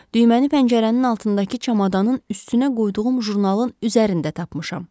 Düyməni pəncərənin altındakı çamadanın üstünə qoyduğum jurnalın üzərində tapmışam.